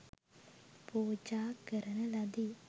පූජා කරන ලදී.